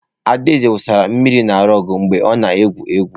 Adaeze wụsara mmiri na rụgu mgbe ọ na-egwu egwu.